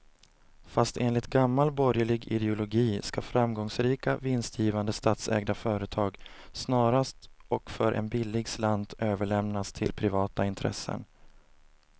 Fast enligt gammal borgerlig ideologi ska framgångsrika, vinstgivande statsägda företag snarast och för en billig slant överlämnas till privata intressen.